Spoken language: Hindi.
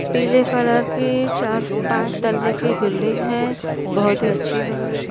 पीले कलर की चार‌ पाँच तल्ले की बिल्डिंग है। बहोत ही अच्छी लग रही --